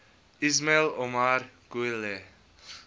ismail omar guelleh